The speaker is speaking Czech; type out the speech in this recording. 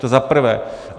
- To za prvé.